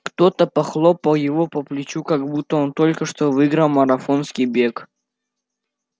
кто-то похлопал его по плечу как будто он только что выиграл марафонский бег